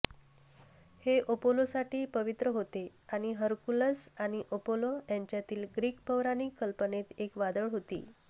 हे अपोलोसाठी पवित्र होते आणि हरकुलस आणि अपोलो यांच्यातील ग्रीक पौराणिक कल्पनेत एक वादळ होती